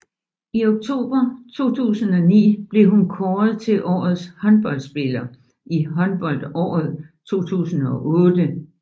I oktober 2009 blev hun kåret til årets håndboldspiller i håndboldåret 2008